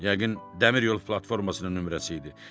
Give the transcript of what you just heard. Yəqin dəmir yol platformasının nömrəsi idi.